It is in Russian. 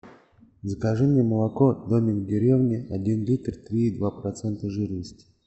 закажи мне молоко домик в деревне один литр три и два процента жирности